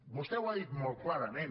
vostè ho ha dit molt clarament